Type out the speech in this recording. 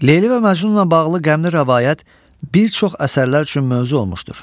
Leyli və Məcnunla bağlı qəmli rəvayət bir çox əsərlər üçün mövzu olmuşdur.